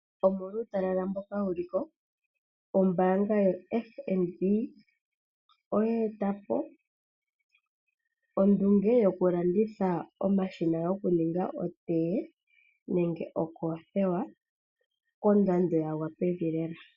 Omolwa uutalala mboka wu li ko, ombaanga yoFNB oya eta po ondunge yokulanditha omashina goku ninga otee nenge okoothiwa kondando ya gwa pevi lela.